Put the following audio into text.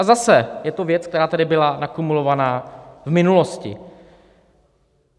A zase je to věc, která tady byla nakumulovaná v minulosti.